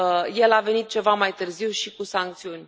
El a venit ceva mai târziu și cu sancțiuni.